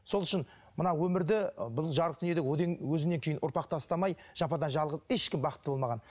сол үшін мына өмірде бұл жарық дүниеде өзінен кейін ұрпақ тастамай жападан жалғыз ешкім бақытты болмаған